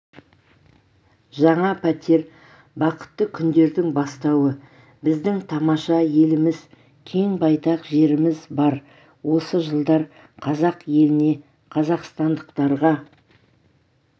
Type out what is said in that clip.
жаңа пәтер бақытты күндердің бастауы біздің тамаша еліміз кең-байтақ жеріміз бар осы жылдар қазақ еліне қазақстандықтарға